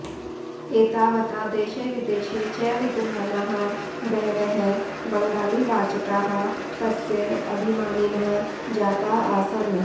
एतावता देशे विदेशे च विद्यमानाः बहवः बङ्गालीवाचकाः तस्य अभिमानिनः जाताः आसन्